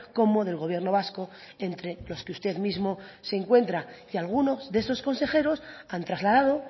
como del gobierno vasco entre los que usted mismo se encuentra y algunos de esos consejeros han trasladado